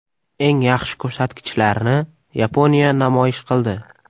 Eng yaxshi ko‘rsatkichlarni Yaponiya namoyish qildi.